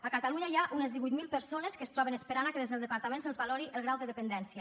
a catalunya hi ha unes divuit mil persones que es troben esperant que des del departament se’ls valori el grau de dependència